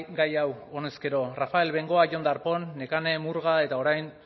gai hau honez gero rafael bengoa jon darpón nekane murga eta orain